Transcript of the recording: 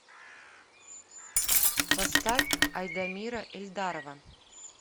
поставь айдамира эльдарова